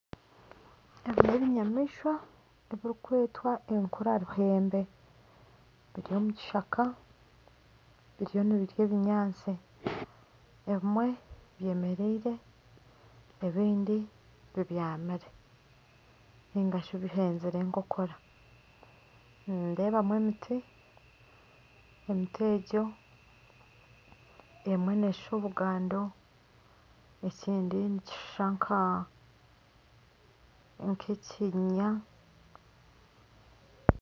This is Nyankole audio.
Ebi n'ebinyamaishwa ebirikwetwa enkura ruhembe. Biri omu kishaka biriyo nibirya obunyaasti. Ebimwe byemereire ebindi bibyamire ningashi bihenzire enkokora. Nindeebamu emiti. Emiti ego, emwe neeshusha obugando, ekindi nikishusha nk'ekinyinya.